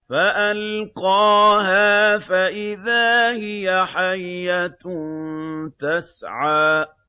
فَأَلْقَاهَا فَإِذَا هِيَ حَيَّةٌ تَسْعَىٰ